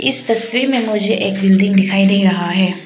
इस तस्वीर में मुझे एक बिल्डिंग दिखाई दे रहा है।